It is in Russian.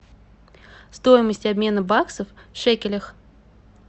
стоимость обмена баксов в шекелях